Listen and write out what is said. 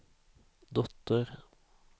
dotter